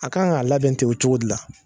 A kan ka a labɛn ten o cogo de la.